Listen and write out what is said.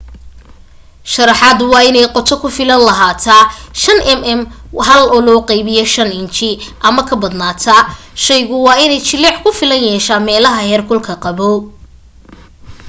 sharaxaadu waa inay qoto ku filan lahaataa 5 mm 1/5 inji ama ka badanba shaygu waa inay jileec ku filan yeeshaa meelah heerkulka qaboow